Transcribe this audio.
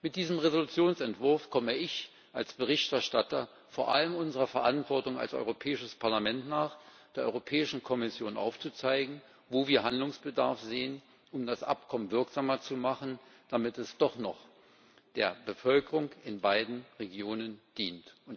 Mit diesem Entschließungsentwurf komme ich als Berichterstatter vor allem unserer Verantwortung als Europäisches Parlament nach, der Europäischen Kommission aufzuzeigen, wo wir Handlungsbedarf sehen, um das Abkommen wirksamer zu machen, damit es doch noch der Bevölkerung in beiden Regionen dient.